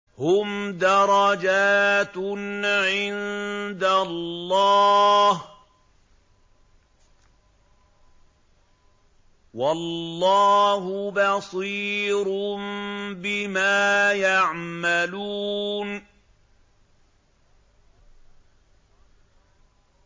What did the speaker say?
هُمْ دَرَجَاتٌ عِندَ اللَّهِ ۗ وَاللَّهُ بَصِيرٌ بِمَا يَعْمَلُونَ